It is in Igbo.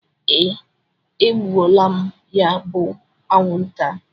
Ee, egbuola m ya bu anwụnta.